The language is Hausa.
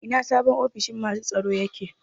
Ina sabon ofishin masu tsaro yake?